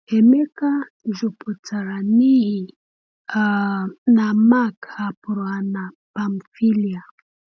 Emeka jụpụtara n’ihi um na Mark hapụrụ ha na Pamfília.